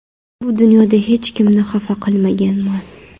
Bu dunyoda hech kimni xafa qilmaganman.